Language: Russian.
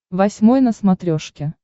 восьмой на смотрешке